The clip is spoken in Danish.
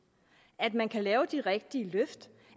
at man kan lave de rigtige løft